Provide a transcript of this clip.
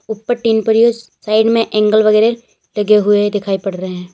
ऊपर टीन पड़ी है और साइड में एंगल वगैरा लगे हुए दिखाई पड़ रहे हैं।